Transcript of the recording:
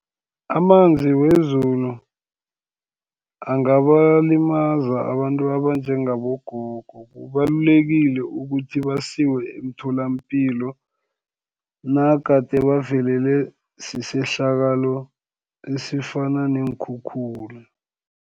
Amanzi wezulu angabalimaza, abantu abanjengabogogo kubalulekile ukuthi basiwe emtholapilo, nagade bavelelwe sisehlakalo esifana neenkhukhula.